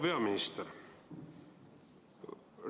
Proua peaminister!